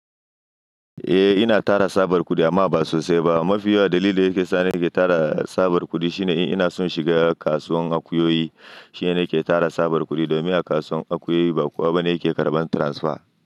Eh ina tara tsabar kudi amma ba sosai ba. Mafi yawan dalili da yake sa ni ke tara tsabar kudi shine ina son shiga kasuwar akuyoyi. Shine yake tara tsabar kudi domin a kasuwar akuyoyi ba kowa bane yake karɓan transfer.